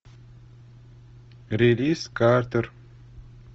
релиз картер